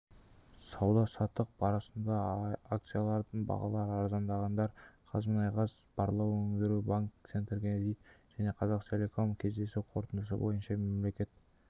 сауда-саттық барысында акцияларының бағалары арзандағандар қазмұнайгаз барлау өндіру банк центркредит және қазақтелеком кездесу қорытындысы бойынша мемлекет